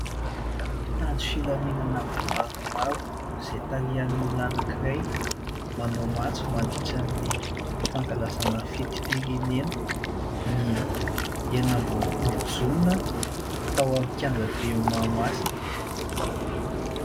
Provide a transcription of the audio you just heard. Mpitandro ny filaminana maromaro izay tarihan'olona anankiray, manao matso mandritra ny fankalazana fetim-pirenena, ny enina amby roapolo jona, tao amin'ny kianja be Mahamasina.